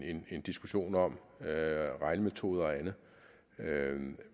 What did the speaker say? en diskussion om regnemetoder og andet